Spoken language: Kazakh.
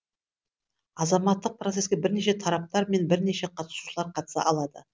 азаматтық процеске бірнеше тараптар мен бірнеше қатысушылар қатыса алады